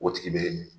O tigi bɛ min